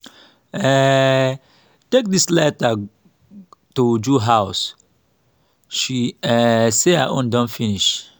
um take dis lighter to uju house she um say her own don finish